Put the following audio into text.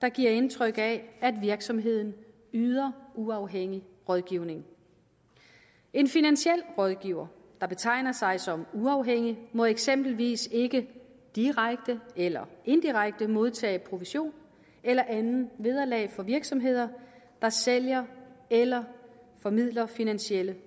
der giver indtryk af at virksomheden yder uafhængig rådgivning en finansiel rådgiver der betegner sig som uafhængig må eksempelvis ikke direkte eller indirekte modtage provision eller andet vederlag fra virksomheder der sælger eller formidler finansielle